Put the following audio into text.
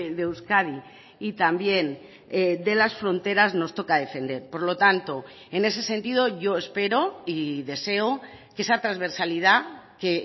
de euskadi y también de las fronteras nos toca defender por lo tanto en ese sentido yo espero y deseo que esa transversalidad que